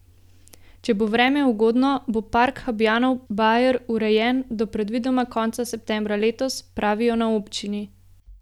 Če bo vreme ugodno, bo park Habjanov bajer urejen do predvidoma konca septembra letos, pravijo na občini.